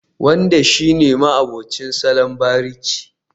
Wanda shi ne ma'abucin salon bariki